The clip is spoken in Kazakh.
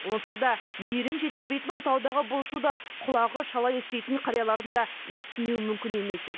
онсыз да мейірім жетіспейтін отаудағы бұл шуды құлағы шала еститін қариялардың да естімеуі мүмкін емес еді